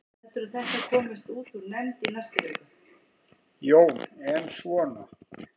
Jón: En svona.